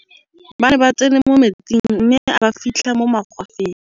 ba ne ba tsene mo metsing mme a ba fitlha mo magwafeng